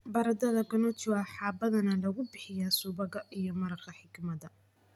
Baradhada gnocchi waxaa badanaa lagu bixiyaa subagga iyo maraqa xikmadda.